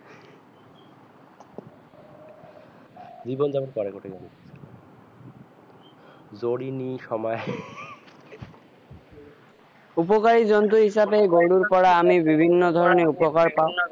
জীৱন যাপন কৰে উপকৰি জন্তু হিচাপে গৰুৰ পৰা আমি বিভিন্ন ধৰনে উপকাৰ পাও